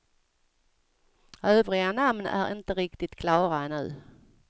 Övriga namn är inte riktigt klara ännu.